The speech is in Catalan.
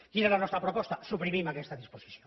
quina és la nostra proposta suprimim aquesta disposició